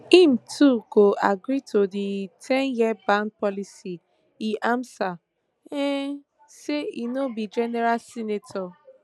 im too go agree to di ten years ban policy im ansa um say i no be general senator